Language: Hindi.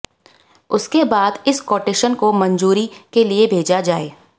उसके बाद इस कोटेशन को मंजूरी के लिए भेजा जाए